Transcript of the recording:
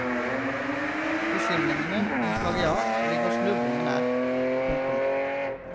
Beskyldningene om plagiat ligger snublende nær. punktum